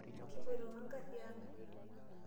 Kipoito we ngari ang.